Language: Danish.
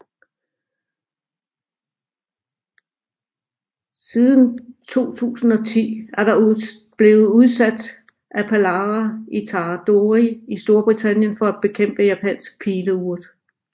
Siden 2010 er der blevet udsat Aphalara itadori i Storbritannien for at bekæmpe Japansk Pileurt